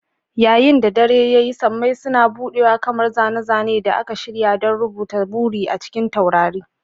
Yayin da dare ya yi, sammai suna buɗewa kamar zane-zane da aka shirya don rubuta buri a cikin taurari.